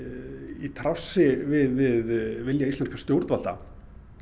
í trássi við vilja íslenskra stjórnvalda